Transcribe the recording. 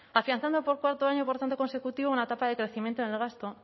afianzando por cuarto año por tanto consecutivo una etapa de crecimiento en el gasto